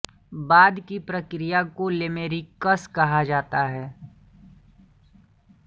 बाद की प्रक्रिया को लामेरिकिस कहा जाता था